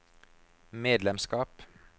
medlemskap